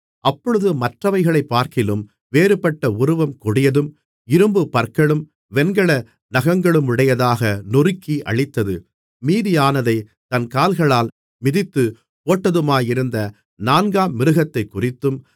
அப்பொழுது மற்றவைகளைப்பார்க்கிலும் வேறுபட்ட உருவம் கொடியதும் இரும்புப் பற்களும் வெண்கல நகங்களுமுடையதாக நொறுக்கி அழித்தது மீதியானதைத் தன் கால்களால் மிதித்துப் போட்டதுமாயிருந்த நான்காம் மிருகத்தைக்குறித்தும்